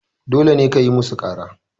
dole kayi musu kara